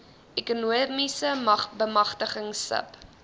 ekonomiese bemagtiging sub